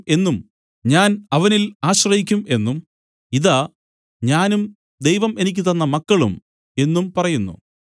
എന്നും ഞാൻ അവനിൽ ആശ്രയിക്കും എന്നും ഇതാ ഞാനും ദൈവം എനിക്ക് തന്ന മക്കളും എന്നും പറയുന്നു